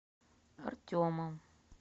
артемом